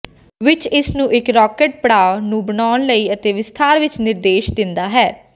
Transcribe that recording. ਵਿਚ ਇਸ ਨੂੰ ਇੱਕ ਰਾਕਟ ਪੜਾਅ ਨੂੰ ਬਣਾਉਣ ਲਈ ਤੇ ਵਿਸਥਾਰ ਵਿੱਚ ਨਿਰਦੇਸ਼ ਦਿੰਦਾ ਹੈ